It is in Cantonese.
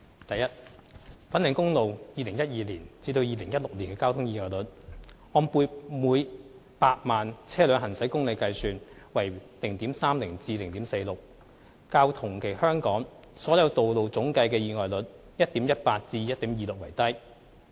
一粉嶺公路2012年至2016年的交通意外率，按每100萬車輛行駛公里計算為 0.30 至 0.46， 較同期香港所有道路總計的意外率 1.18 至 1.26 為低。